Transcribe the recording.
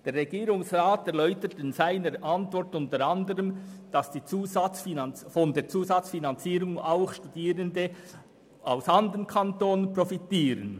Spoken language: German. Der Regierungsrat erläutert in seiner Antwort unter anderem, dass von der Zusatzfinanzierung auch Studierende aus anderen Kantonen profitieren.